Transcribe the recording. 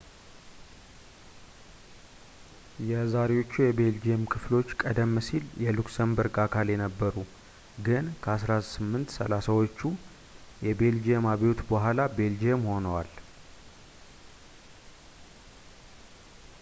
የዛሬዎቹ የቤልጅየም ክፍሎች ቀደም ሲል የሉክሰምበርግ አካል ነበሩ ግን ከ 1830 ዎቹ የቤልጂየም አብዮት በኋላ ቤልጅየም ሆነዋል